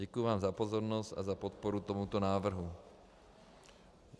Děkuji vám za pozornost a za podporu tomuto návrhu.